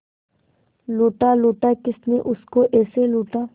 लूटा लूटा किसने उसको ऐसे लूटा